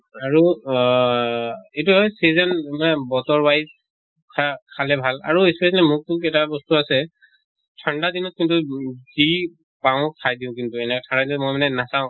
আৰু আহ এইটো season মানে বতৰ wise খা খালে ভাল আৰু specially মোক টো এটা বস্তু আছে ঠান্দা দিনত কিন্তু যি পাওঁ খাই দিওঁ কিন্তু, ঠাই লৈ মই মানে নাচাওঁ